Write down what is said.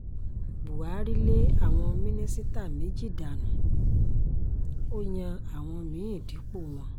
buhari lé àwọn mínísítà méjì dànù ó yan àwọn mí-ín dípò wọn